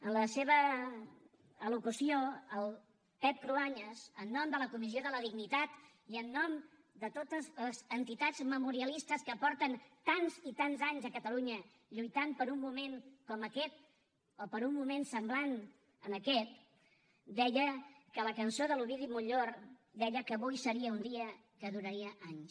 en la seva al·locució el pep cruanyes en nom de la comissió de la dignitat i en nom de totes les entitats memorialistes que fa tants i tants a catalunya que lluiten per un moment com aquest o per un moment semblant a aquest deia que la cançó de l’ovidi montllor deia que avui seria un dia que duraria anys